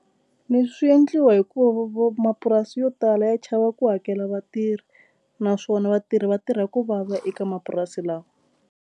Leswi swi endliwa hikuva mapurasi yo tala ya chava ku hakela vatirhi naswona vatirhi vatirha ku vava eka mapurasi lawa.